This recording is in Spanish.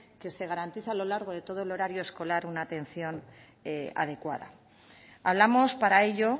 que se garantice a lo largo de todo el horario escolar una atención adecuada hablamos para ello